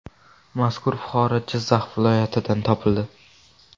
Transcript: Mazkur fuqaro Jizzax viloyatidan topildi.